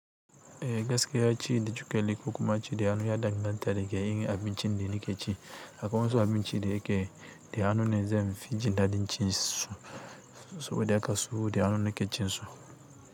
Eh gaskiya ci da cokali ko kuma ci da hannu ya ɗan ganta daga yanayin abincin da nake ci. Akwai wasu abinci da yake da hannu ne zai fi jin daɗin cin su, saboda haka su da hannu ne ke cin su.